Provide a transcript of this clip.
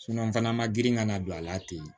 n fana ma girin ka na don a la ten